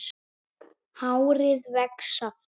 Hárið vex aftur.